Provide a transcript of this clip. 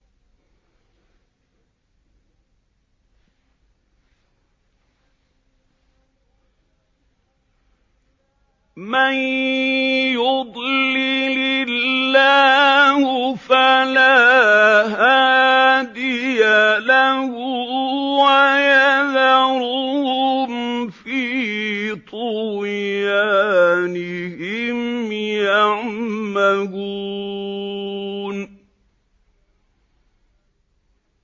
مَن يُضْلِلِ اللَّهُ فَلَا هَادِيَ لَهُ ۚ وَيَذَرُهُمْ فِي طُغْيَانِهِمْ يَعْمَهُونَ